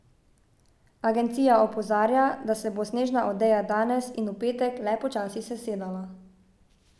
Agencija opozarja da se bo snežna odeja danes in v petek le počasi sesedala.